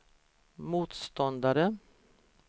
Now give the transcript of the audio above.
motståndare